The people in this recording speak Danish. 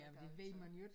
Jamen det ved man jo ikke